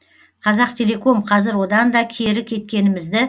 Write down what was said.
қазақтелеком қазір одан да кері кеткенімізді